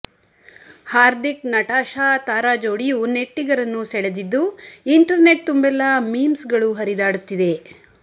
ಹಾರ್ದಿಕ್ ನಟಾಶಾ ತಾರಾಜೋಡಿಯು ನೆಟ್ಟಿಗರನ್ನು ಸೆಳೆದಿದ್ದು ಇಂಟೆರ್ ನೆಟ್ ತುಂಬೆಲ್ಲಾ ಮೀಮ್ಸ್ ಗಳು ಹರಿದಾಡುತ್ತಿದೆ